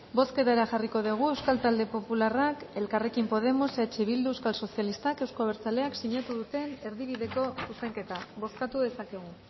bozketara jarriko dugu euskal talde popularrak elkarrekin podemos eh bildu euskal sozialistak euzko abertzaleak sinatu duten erdibideko zuzenketa bozkatu dezakegu